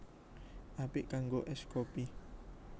Apik kanggo ès kopi